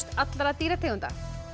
allra dýrategunda